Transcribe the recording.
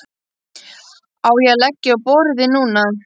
Á ég að leggja á borðið núna?